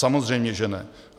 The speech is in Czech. Samozřejmě že ne.